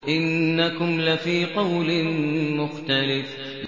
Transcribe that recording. إِنَّكُمْ لَفِي قَوْلٍ مُّخْتَلِفٍ